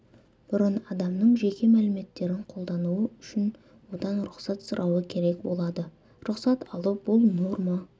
бұрын адамның жеке мәліметтерін қолдану үшін одан рұқсат сұрауы керек болады рұқсат алу бұл норма